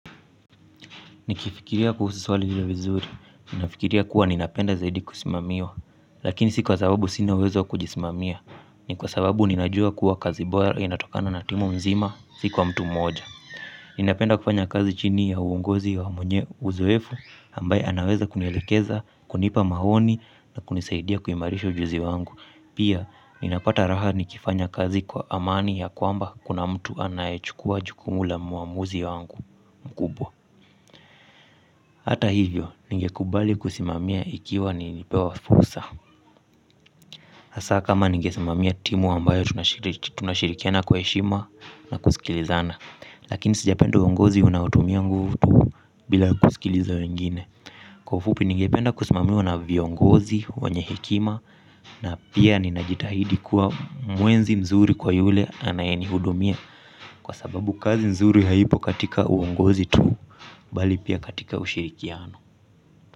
Nikifikiria kuhusu swali hili vizuri, ninafikiria kuwa ninapenda zaidi kusimamiwa, lakini si kwa sababu sina uwezo wa kujismamia, ni kwa sababu ninajua kuwa kazi bora inatokana na timu mzima si kwa mtu moja. Ninapenda kufanya kazi chini ya uongozi wa mwenye uzoefu, ambaye anaweza kunielekeza, kunipa maoni na kunisaidia kuimarisha ujuzi wangu. Pia, ninapata raha nikifanya kazi kwa amani ya kwamba kuna mtu anayechukua jukumu la muamuzi wangu mkubwa. Hata hivyo, ningekubali kusimamia ikiwa nimepewa fursa. Hasa kama ningesimamia timu ambayo tunashirikiana kwa heshima na kusikilizana. Lakini sijapenda uongozi unaotumia nguvu tu bila kusikiliza wengine. Kwa ufupi ningependa kusimamiwa na viongozi wenye hekima. Na pia ninajitahidi kuwa mwenzi mzuri kwa yule anaye nihudumia. Kwa sababu kazi mzuri haipo katika uongozi tu bali pia katika ushirikiano.